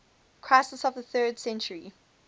crisis of the third century